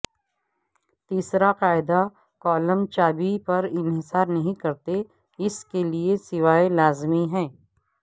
تیسرا قاعدہ کالم چابی پر انحصار نہیں کرتے اس کے لئے سوائے لازمی ہے